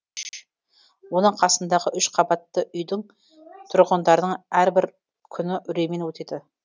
оның қасындағы үш көпқабатты үйдің тұрғындарының әрбір күні үреймен өтеді